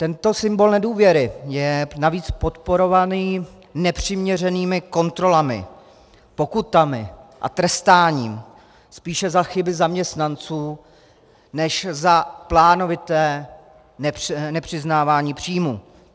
Tento symbol nedůvěry je navíc podporovaný nepřiměřenými kontrolami, pokutami a trestání spíše za chyby zaměstnanců než za plánovité nepřiznávání příjmů.